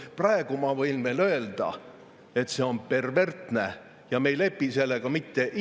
Praegu ma võin veel öelda, et see on perversne ja me ei lepi sellega mitte iialgi.